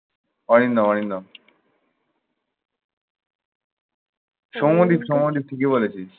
অরিন্দম অরিন্দম। সৌম্যদীপ সৌম্যদীপ। ঠিকই বলেছিস।